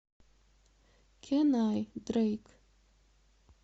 кэн ай дрэйк